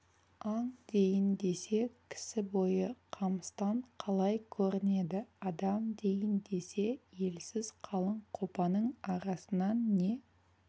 аң дейін десе кісі бойы қамыстан қалай көрінеді адам дейін десе елсіз қалың қопаның арасынан не